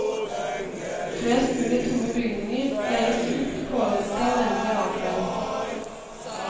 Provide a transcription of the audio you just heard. Flest mulig tomme bygninger leies ut i påvente av endelig avklaring.